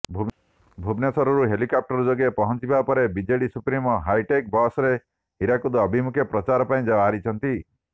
ଭୁବନେଶ୍ୱରରୁ ହେଲିକପ୍ଟର ଯୋଗେ ପହଂଚିବା ପରେ ବିଜେଡି ସୁପ୍ରିମୋ ହାଇଟେକ୍ ବସ୍ରେ ହୀରାକୁଦ ଅଭିମୁଖେ ପ୍ରଚାର ପାଇଁ ବାହାରିଛନ୍ତି